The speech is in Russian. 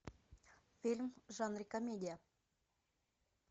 фильм в жанре комедия